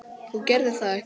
Þú gerðir það ekki?